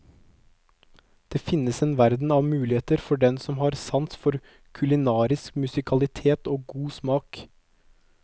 Det finnes en verden av muligheter for den som har sans for kulinarisk musikalitet og god smak.